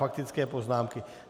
Faktické poznámky.